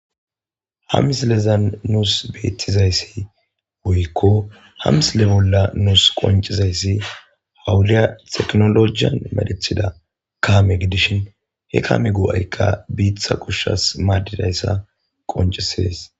hamisilezan nuus beettizayssi woykko hamisile bolla nuus qoncizayssi hawuliya teknolojiyan medhethida kaame gidishin he kaame gu7aykka biitha qushsas maaddidayssa qoncisees